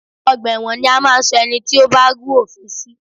Ọgbà ẹ̀wọn ni a máa ń ṣọ ẹni tí ó bá rú òfin sí